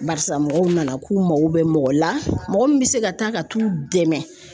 Barisa mɔgɔw nana k'u mako bɛ mɔgɔ la, mɔgɔ min bɛ se ka taa ka t'u dɛmɛ